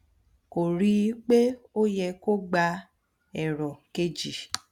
kò rí i pé ó yẹ kó gba èrò kejì